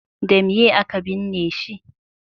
da meye a ka binne shi